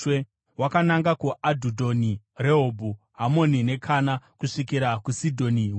Wakananga kuAdhudhoni, Rehobhu, Hamoni neKana, kusvikira kuSidhoni Huru.